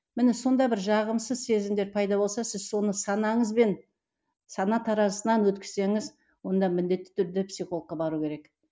міне сонда бір жағымсыз сезімдер пайда болса сіз соны санаңызбен сана таразысынан өткізсеңіз онда міндетті түрде психологқа бару керек